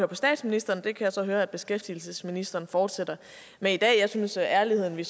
på statsministeren og det kan jeg så høre at beskæftigelsesministeren fortsætter med i dag jeg synes at ærligheden vi